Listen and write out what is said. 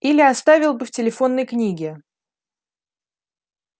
или оставил бы в телефонной книге